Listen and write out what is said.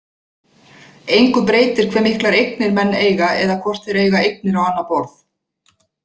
Engu breytir hve miklar eignir menn eiga eða hvort þeir eiga eignir á annað borð.